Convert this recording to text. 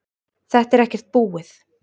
Þetta er ekkert búið